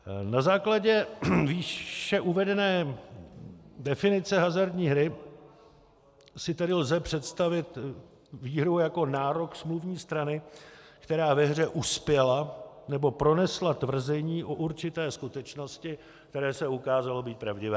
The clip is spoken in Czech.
Na základě výše uvedené definice hazardní hry si tedy lze představit výhru jako nárok smluvní strany, která ve hře uspěla nebo pronesla tvrzení o určité skutečnosti, které se ukázalo být pravdivé.